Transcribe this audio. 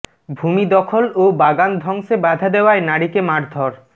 ভূমি দখল ও বাগান ধ্বংসে বাধা দেওয়ায় নারীকে মারধর